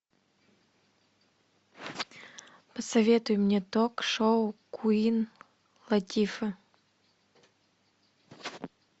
посоветуй мне ток шоу куин латифы